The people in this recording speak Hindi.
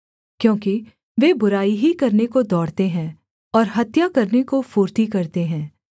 क्योंकि वे बुराई ही करने को दौड़ते हैं और हत्या करने को फुर्ती करते हैं